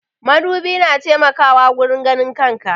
Madubi na taimakawa wurin ganin kan ka.